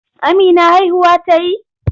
Amina haihuwa ta yi?